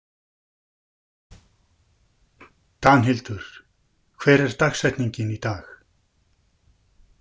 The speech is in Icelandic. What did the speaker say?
Danhildur, hver er dagsetningin í dag?